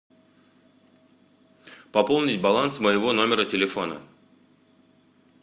пополнить баланс моего номера телефона